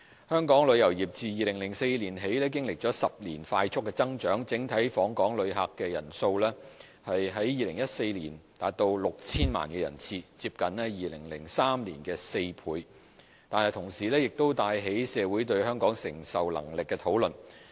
香港旅遊業自2004年起經歷了10年的快速增長，整體訪港旅客人數於2014年達 6,000 萬人次，接近2003年的4倍，但同時亦帶起社會對香港承受能力的討論。